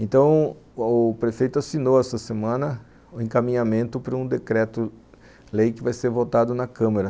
Então, o prefeito assinou essa semana o encaminhamento para um decreto-lei que vai ser votado na Câmara.